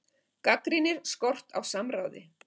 Gagnrýnir skort á samráði